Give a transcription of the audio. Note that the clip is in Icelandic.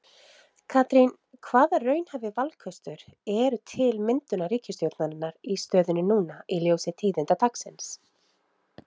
Katrín, hvaða raunhæfi valkostur eru til myndunar ríkisstjórnar í stöðunni núna í ljósi tíðinda dagsins?